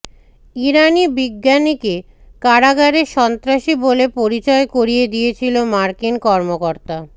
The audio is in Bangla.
ইরানি বিজ্ঞানীকে কারাগারে সন্ত্রাসী বলে পরিচয় করিয়ে দিয়েছিল মার্কিন কর্মকর্তা